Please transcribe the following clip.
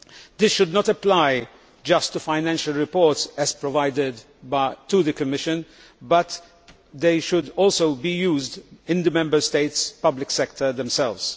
This should not apply just to financial reports as provided to the Commission but they should also be used in the Member States' public sectors themselves.